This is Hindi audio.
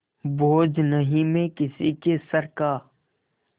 बोझ नहीं मैं किसी के सर का